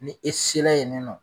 Ni e se la yen nɔ